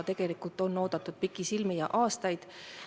Perelepitust on oodatud pikisilmi ja aastaid.